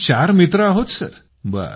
आम्ही चार मित्र आहोतसर